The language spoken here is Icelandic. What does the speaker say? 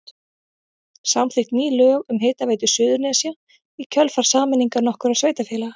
Samþykkt ný lög um Hitaveitu Suðurnesja í kjölfar sameiningar nokkurra sveitarfélaga.